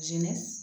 Jini